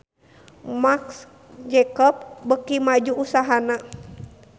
Marc Jacob beuki maju usahana